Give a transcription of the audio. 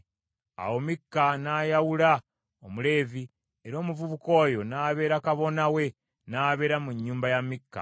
Awo Mikka n’ayawula Omuleevi, era omuvubuka oyo n’abeera kabona we n’abeera mu nnyumba ya Mikka.